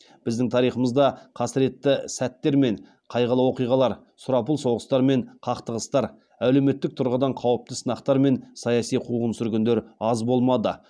біздің тарихымызда қасіретті сәттер мен қайғылы оқиғалар сұрапыл соғыстар мен қақтығыстар әлеуметтік тұрғыдан қауіпті сынақтар мен саяси қуғын сүргіндер аз болмады